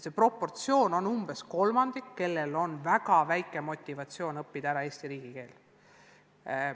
Neid on umbes kolmandik, kellel on väga madal motivatsioon õppida ära Eesti riigikeel.